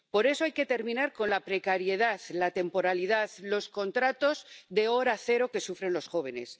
Por eso hay que terminar con la precariedad, la temporalidad, los contratos de hora cero que sufren los jóvenes.